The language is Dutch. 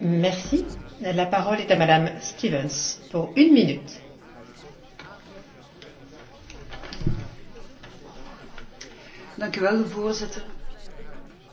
Voorzitter, een betere communicatie tussen de bestaande EU agentschappen is belangrijk om informatie uitwisseling en samenwerking tot stand te brengen.